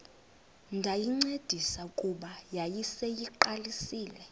ndayincedisa kuba yayiseyiqalisile